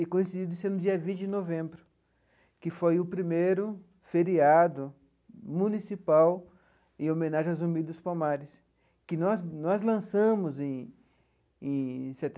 e coincidido de ser no dia vinte de novembro, que foi o primeiro feriado municipal em homenagem ao Zumbi dos Palmares, que nós nós lançamos em em